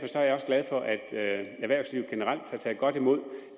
også glad for at erhvervslivet generelt har taget godt imod